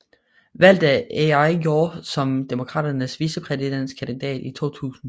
Valgt af Al Gore som Demokraternes vicepræsidentkandidat i 2000